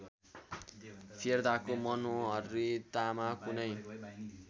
फेर्दाको मनोहरितामा कुनै